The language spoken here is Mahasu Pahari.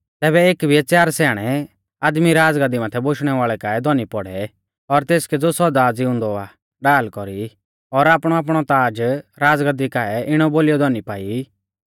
तैबै एक बिऐ च़ार स्याणै आदमी राज़गाद्दी माथै बोशणै वाल़ै काऐ धौनी पौड़ै और तेसकै ज़ो सौदा ज़िउंदौ आ ढाल कौरी और आपणौआपणौ ताज़ राज़गाद्दी काऐ इणौ बोलीयौ धौनी पाई